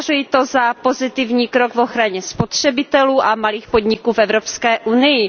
Považuji to za pozitivní krok v ochraně spotřebitelů a malých podniků v Evropské unii.